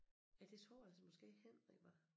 Ja det tror jeg så måske Henrik var